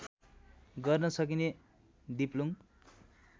गर्न सकिने दिप्लुङ